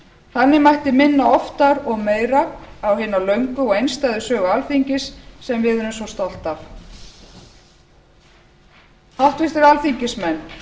þannig mætti minna oftar og meira á hina löngu og einstæðu sögu alþingis sem við erum svo stolt af háttvirtir alþingismenn